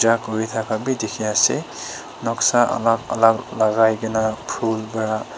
Puja kori thaka bhi dekhi ase noksa alag alag lagai kina phool para--